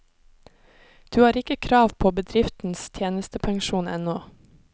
Du har ikke krav på bedriftens tjenestepensjon ennå.